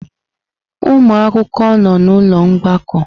Ụmụ akwụkwọ nọ n'ụlọ mgbakọ?